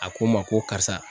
A ko n ma ko karisa.